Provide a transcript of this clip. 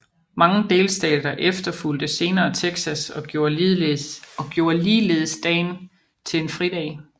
Mange delstater efterfulgte senere Texas og gjorde ligeledes dagen til en fridag